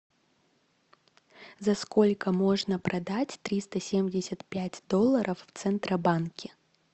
за сколько можно продать триста семьдесят пять долларов в центробанке